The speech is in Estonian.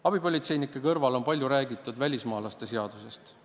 Abipolitseinike kõrval on palju räägitud ka välismaalaste seadusest.